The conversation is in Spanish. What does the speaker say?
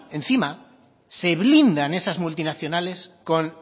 encima se blindan esas multinacionales con